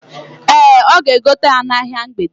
Ee, ọ ga-egote ya n'ahia mgbede.